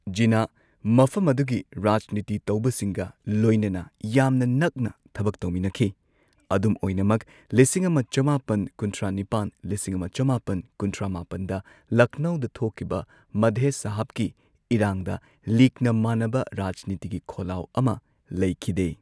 ꯖꯤꯟꯅꯥꯍ ꯃꯐꯝ ꯑꯗꯨꯒꯤ ꯔꯥꯖꯅꯤꯇꯤ ꯇꯧꯕꯁꯤꯡꯒ ꯂꯣꯏꯅꯅ ꯌꯥꯝꯅ ꯅꯛꯅ ꯊꯕꯛ ꯇꯧꯃꯤꯟꯅꯈꯤ, ꯑꯗꯨꯝ ꯑꯣꯏꯅꯃꯛ, ꯂꯤꯁꯤꯡ ꯑꯃ ꯆꯃꯥꯄꯟ ꯀꯨꯟꯊ꯭ꯔꯥ ꯅꯤꯄꯥꯟ ꯂꯤꯁꯤꯡ ꯑꯃ ꯆꯃꯥꯄꯟ ꯀꯨꯟꯊ꯭ꯔꯥ ꯃꯥꯄꯟꯗ ꯂꯈꯅꯧꯗ ꯊꯣꯛꯈꯤꯕ ꯃꯙꯦ ꯁꯍꯥꯕꯀꯤ ꯏꯔꯥꯡꯗ ꯂꯤꯒꯅ ꯃꯥꯟꯅꯕ ꯔꯥꯖꯅꯤꯇꯤꯒꯤ ꯈꯣꯜꯂꯥꯎ ꯑꯃ ꯂꯩꯈꯤꯗꯦ꯫